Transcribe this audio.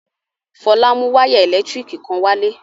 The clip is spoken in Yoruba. Fọlá mú wayà ẹ̀lẹ́tíríkì kan wálé.